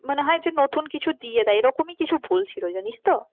মানে হয় যে নতুন কিছু দিয়ে দেয় এরকমই কিছু বলছিলো জানিস তো।